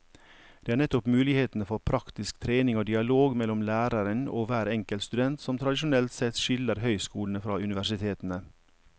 Det er nettopp muligheten for praktisk trening og dialog mellom læreren og hver enkelt student som tradisjonelt sett skiller høyskolene fra universitetene.